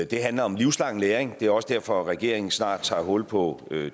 det handler om livslang læring det er også derfor regeringen snart tager hul på